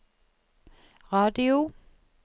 radio